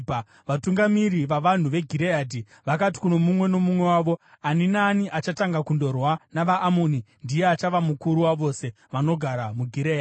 Vatungamiri vavanhu veGireadhi vakati kuno mumwe nomumwe wavo, “Ani naani achatanga kundorwa navaAmoni ndiye achava mukuru wavose vanogara muGireadhi.”